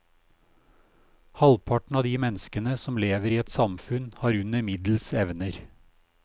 Halvparten av de menneskene som lever i et samfunn har under middels evner.